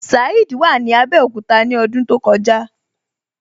Saheed wà ní Abẹ́òkúta ní ọdún tó kọjá.